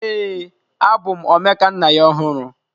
Ee, abụ m Omekannaya ọhụrụ.